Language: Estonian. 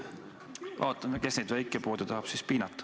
Vaatame, kes siis tahab neid väikepoode piinata.